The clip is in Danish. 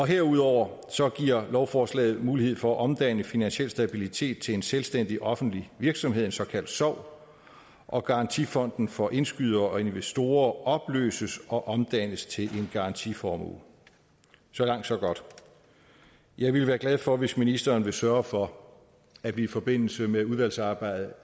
herudover giver lovforslaget mulighed for at omdanne finansiel stabilitet til en selvstændig offentlig virksomhed en såkaldt sov og garantifonden for indskydere og investorer opløses og omdannes til garantiformuen så langt så godt jeg ville være glad for hvis ministeren vil sørge for at vi i forbindelse med udvalgsarbejdet